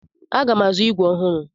Aga m azụ ígwè ọhụrụ.